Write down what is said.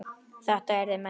Þetta yrðu menn að skilja.